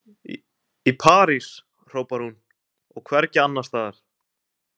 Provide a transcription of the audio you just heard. Í París, hrópar hún, og hvergi annars staðar! „